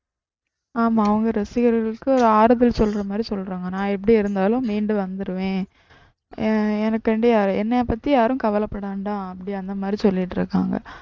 ஆமா அவங்க ரசிகர்களுக்கு ஆறுதல் சொல்றது மாதிரி சொல்றாங்க நான் எப்டி இருந்தாலும் மீண்டு வந்திருவேன் எனக்காண்டி என்னையப்பத்தி யாரும் கவலப்பட வேண்டாம் அப்படி அந்த மாதிரி சொல்லிட்டிருக்காங்க